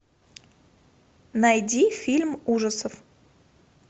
найди фильм ужасов